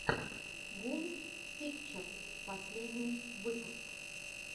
гул пикчерс последний выпуск